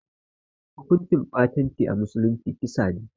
Hukunci ɓatanci a musulunci kisa ne